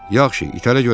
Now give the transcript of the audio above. Yaxşı, itələ görək.